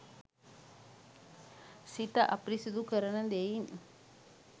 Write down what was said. සිත අපිරිසිදු කරන දෙයින්